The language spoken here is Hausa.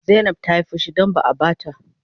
Zainab Ta Yi hushi don ba a ba ta